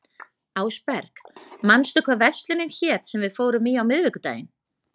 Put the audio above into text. Ásberg, manstu hvað verslunin hét sem við fórum í á miðvikudaginn?